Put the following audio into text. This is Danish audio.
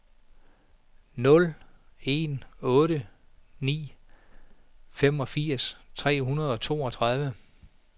nul en otte ni femogfirs tre hundrede og toogtredive